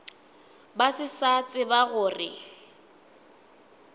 ba se sa tseba gore